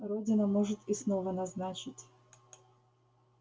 родина может и снова назначить